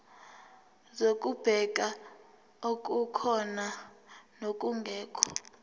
zokubheka okukhona nokungekho